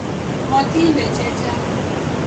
Motide chechang